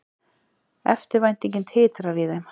Eftirvæntingin titrar í þeim.